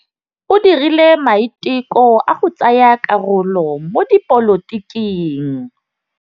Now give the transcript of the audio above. O dirile maitekô a go tsaya karolo mo dipolotiking.